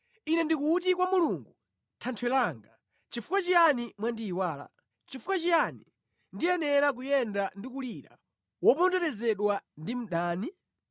Ine ndikuti kwa Mulungu Thanthwe langa, “Nʼchifukwa chiyani mwandiyiwala? Nʼchifukwa chiyani ndiyenera kuyenda ndikulira, woponderezedwa ndi mdani?”